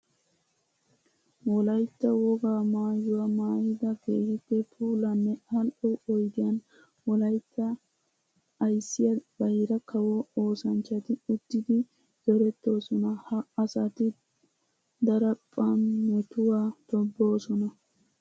Wolaytta wogaa maayuwa maayidda keehippe puulanne ali'o oyddiyan wolaytta ayssiya bayra kawo oosanchchatti uttiddi zorettosonna. Ha asatti daraphphan metuwa tobosonna.